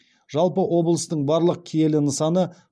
жалпы облыстың барлық киелі нысаны